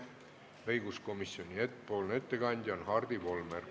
Õiguskomisjoni ettekandja on Hardi Volmer.